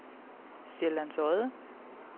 Sjællands Odde